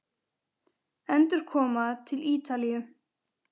Endurkoma til Ítalíu?